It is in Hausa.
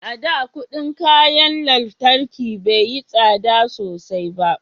a da kudin kayan lantarki bai yi tsada sosai ba